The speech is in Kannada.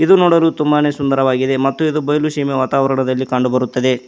ಇದು ನೋಡಲು ತುಂಬಾ ಸುಂದರವಾಗಿದೆ ಮತ್ತು ಇದು ನೋಡಲು ಬಯಲು ವಾತಾವರಣದಲ್ಲಿ ಕಂಡು ಬರುತ್ತದೆ.